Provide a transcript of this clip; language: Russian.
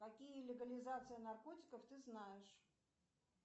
какие легализации наркотиков ты знаешь